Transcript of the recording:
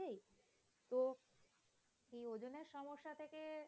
তো কি ওজনের সমস্যা থেকে